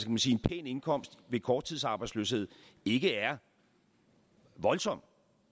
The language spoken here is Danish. man sige en pæn indkomst ved korttidsarbejdsløshed ikke er voldsom